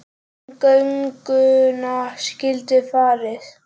Í gönguna skyldi farið.